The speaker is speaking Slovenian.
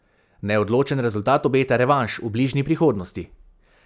Neodločen rezultat obeta revanš v bližnji prihodnosti.